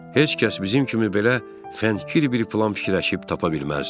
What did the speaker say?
Heç kəs bizim kimi belə fənkir bir plan fikirləşib tapa bilməzdi.